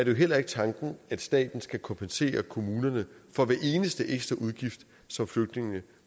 jo heller ikke tanken at staten skal kompensere kommunerne for hver eneste ekstra udgift som flygtningene